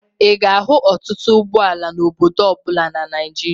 Ị ga-ahụ ọtụtụ ụgbọala n'obodo ọ bụla na Naịjịria.